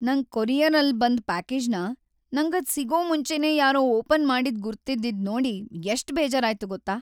ನಂಗ್ ಕೊರಿಯರಲ್ಲ್ ಬಂದ್ ಪ್ಯಾಕೇಜ್ನ ನಂಗದ್‌ ಸಿಗೋ ಮುಂಚೆನೇ ಯಾರೋ ಓಪನ್‌ ಮಾಡಿದ್‌ ಗುರ್ತಿದ್ದಿದ್ ನೋಡಿ ಎಷ್ಟ್‌ ಬೇಜಾರಾಯ್ತು ಗೊತ್ತಾ?